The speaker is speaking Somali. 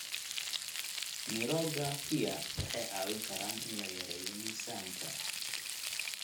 Mirooga pear waxay caawin karaan in la yareeyo miisaanka.